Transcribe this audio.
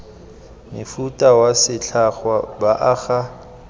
mofuta wa setlhangwa ba aga